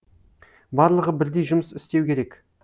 барлығы бірдей жұмыс істеу керек